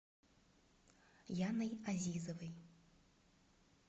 яной азизовой